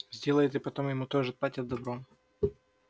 сделает и потом ему тоже отплатят добром